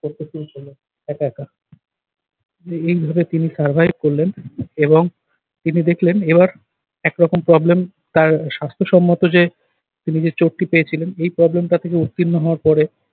করতে শুরু করলেন একা একা। এইভাবে তিনি survive করলেন এবং তিনি দেখলেন এবার একরকম problem তার স্বাস্থ্যসম্মত যে তিনি যে চোটটি পেয়েছিলেন এই problem টা থেকে উত্তীর্ণ হওয়ার পরে